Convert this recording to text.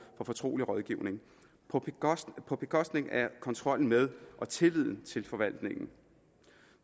for fortrolig rådgivning på bekostning af kontrollen med og tilliden til forvaltningen